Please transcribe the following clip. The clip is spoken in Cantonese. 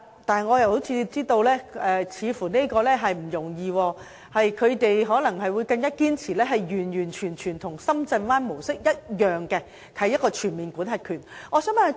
但是，我知道這似乎並不容易，他們可能是堅持完全與深圳灣模式一樣，也就是擁有全面管轄權。